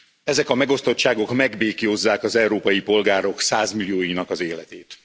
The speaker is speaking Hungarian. Ezek a megosztottságok megbéklyózzák az európai polgárok százmillióinak életét.